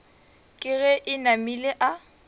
ke ge e namile a